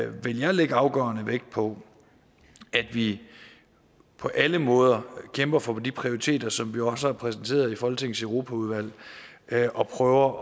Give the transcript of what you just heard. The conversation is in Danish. vil jeg lægge afgørende vægt på at vi på alle måder kæmper for de prioriteter som vi jo også har præsenteret i folketingets europaudvalg og prøver